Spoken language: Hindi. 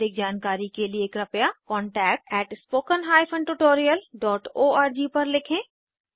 अधिक जानकारी के लिए कृपया spoken hyphen tutorial dot O R G पर लिखें